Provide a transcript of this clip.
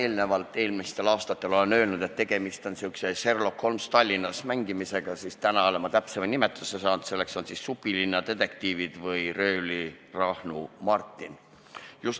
Kui ma varem, eelmistel aastatel olen öelnud, et tegemist on säärase "Sherlock Holmes Tallinnas" mängimisega, siis täna olen täpsema nimetuse leidnud, selleks on "Supilinna detektiivid" või "Röövlirahnu Martin".